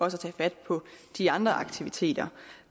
at tage fat på de andre aktiviteter